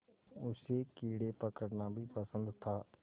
उसे कीड़े पकड़ना भी पसंद था